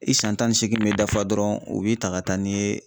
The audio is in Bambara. I san tan ni seegin bɛ dafa dɔrɔn, u b'i ta ka taa n'i ye.